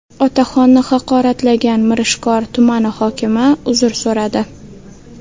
Otaxonni haqoratlagan Mirishkor tumani hokimi uzr so‘radi.